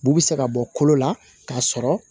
Bu bi se ka bɔ kolo la k'a sɔrɔ